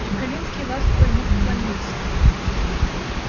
чекалинский ласково ему поклонился